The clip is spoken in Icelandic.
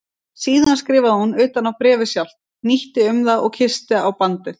Síðan skrifaði hún utan á bréfið sjálft, hnýtti um það og kyssti á bandið.